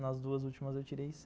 Nas duas últimas eu tirei